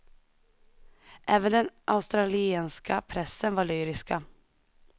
Även den australienska pressen var lyriska.